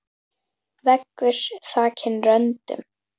Veggur þakinn röndum.